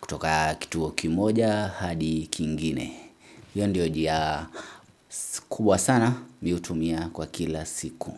kutoka kituo kimoja hadi kingine. Hiyo ndio njia kubwa sana mimi hutumia kwa kila siku.